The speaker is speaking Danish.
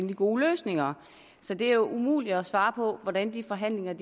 de gode løsninger så det er jo umuligt at svare på hvordan de forhandlinger